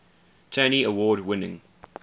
tony award winning